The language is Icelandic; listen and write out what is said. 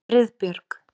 Friðbjörg